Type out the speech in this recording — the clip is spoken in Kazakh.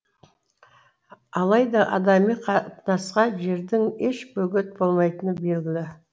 алайда адами қатынасқа жердің еш бөгет болмайтыны белгілі